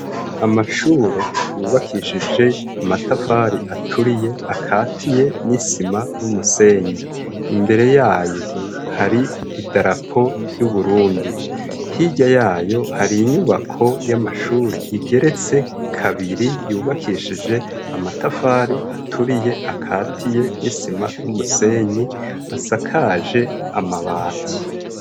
Amashure yubakishije amatafari aturiye akatiye, n'isima n'umusenyi, imbere yayo hari idarapo ry'Uburundi, hirya yayo hari inyubako y'amashure igeretse kabiri yubakishije amatafari aturiye akatiye n'isima n'umusenyi asakaje amabati.